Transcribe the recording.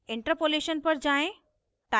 interpolation पर जाएँ